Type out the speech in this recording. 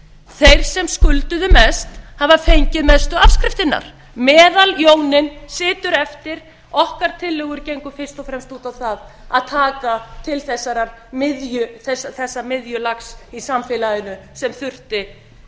þeir sem skulduðu mest hafa fengið mestu afskriftirnar meðaljóninn situr eftir okkar tillögur gengu fyrst og fremst út á það að taka til þessa miðjulags í samfélaginu sem þurfti einungis